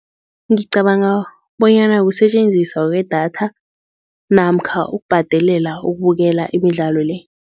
Ngicabanga bonyana kusetjenziswa kwedatha namkha ukubhadelela ukubukela imidlalo-le.